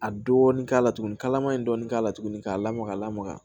A dɔɔni k'a la tuguni kalama in dɔɔni k'a la tuguni k'a lamaga ka lamaga